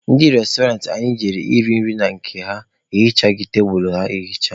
Ndị restoranti anyị jere iri nri na ya ehichaghị tebulu ha ehicha.